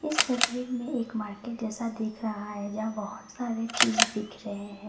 इस तस्वीर में एक मार्केट जैसा देख रहा है जहां बहुत सारे चीज दिख रहे हैं।